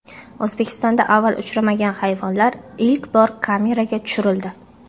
O‘zbekistonda avval uchramagan hayvonlar ilk bor kameraga tushirildi .